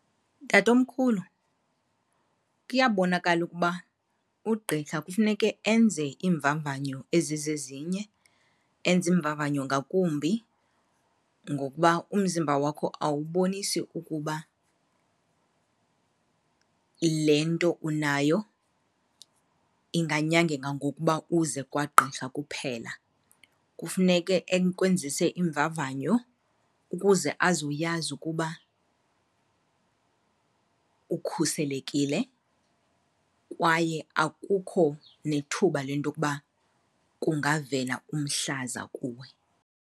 Tatomkhulu, kuyabonakala ukuba ugqirha kufuneke enze iimvavanyo ezizezinye, enze iimvavanyo ngakumbi ngokuba umzimba wakho awubonisi ukuba le nto unayo inganyangeka ngokuba uze kwagqirha kuphela. Kufuneke ekwenzise iimvavanyo ukuze azoyazi ukuba ukhuselekile kwaye akukho nethuba lentokuba kungavela umhlaza kuwe.